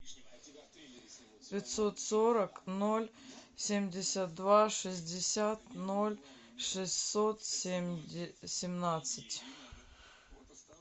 пятьсот сорок ноль семьдесят два шестьдесят ноль шестьсот семнадцать